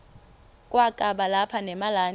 kwakaba lapha nemalana